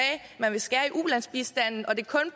at man ville skære i ulandsbistanden og det